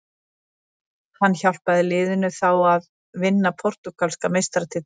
Hann hjálpaði liðinu þá að vinna portúgalska meistaratitilinn.